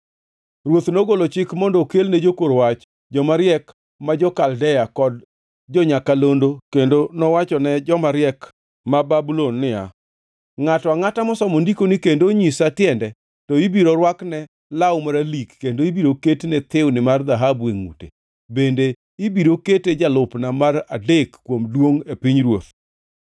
Ruoth nogolo chik mondo okelne jokor wach, joma riek ma jo-Kaldea kod jo-nyakalondo kendo nowachone jomariek ma Babulon niya, “Ngʼato angʼata mosomo ndikoni kendo onyisa tiende, to ibiro rwakne law maralik kendo ibiro ketne thiwni mar dhahabu e ngʼute, bende ibiro kete jalupna mar adek kuom duongʼ e pinyruoth.”